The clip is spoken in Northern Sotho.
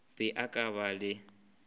be a ka ba le